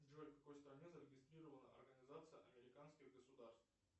джой в какой стране зарегистрирована организация американских государств